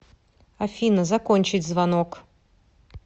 афина закончить звонок